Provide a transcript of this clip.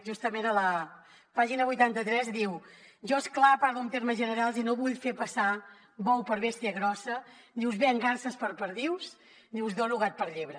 justament a la pàgina vuitanta tres diu jo és clar parlo en termes generals i no vull fer passar bou per bèstia grossa ni us venc garses per perdius ni us dono gat per llebre